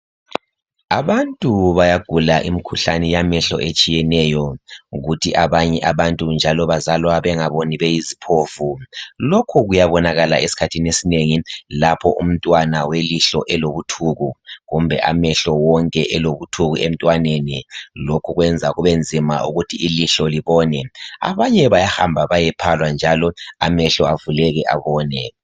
Abantu bayagula imikhuhlane yamehlo etshiyeneyo, kuthi abanye abantu njalo bazalwa bengaboni beyiziphofu. Lokhu kuyabonakala ezikhathini ezinengi lapho umntwana welihlo elobuthuku kumbe amehlo wonke elobuthuku emntwaneni. Lokhu kwenza kubenzima ukuthi ilihlo libone. Abanye bayahamba bayephalwa njalo amehlo avuleke abone